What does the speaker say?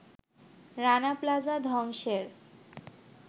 রানা প্লাজা ধ্বংসের